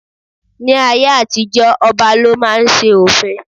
Ní ayé àtijó ọba lọ máa ń ṣe òfin.